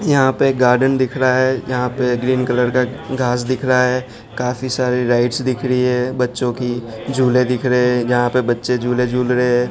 यहां पर गार्डन दिख रहा है यहां पर ग्रीन कलर का घास दिख रहा है काफी सारी लाइट्स दिख रही है बच्चों की झूले दिख रहे हैं जहां पर बच्चे झूले झूल रहे हैं।